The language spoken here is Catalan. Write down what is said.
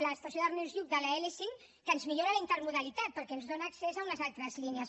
l’estació d’ernest lluch de la l5 que ens millora la intermodalitat perquè ens dona accés a unes altres línies